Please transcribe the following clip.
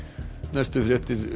næstu fréttir